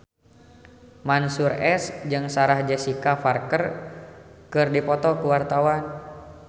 Mansyur S jeung Sarah Jessica Parker keur dipoto ku wartawan